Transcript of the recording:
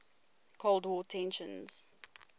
cold war tensions